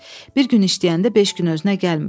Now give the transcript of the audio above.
Bir gün işləyəndə beş gün özünə gəlmir.